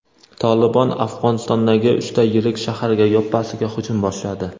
"Tolibon" Afg‘onistondagi uchta yirik shaharga yoppasiga hujum boshladi.